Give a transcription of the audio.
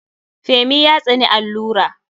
Femi ya tsani allura.